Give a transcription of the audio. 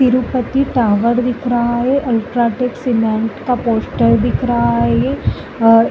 तिरुपति पहाड़ दिख रहा है। अल्ट्राटेक सिमेन्ट का पोस्टर दिख रहा है ये और --